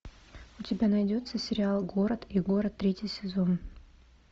у тебя найдется сериал город и город третий сезон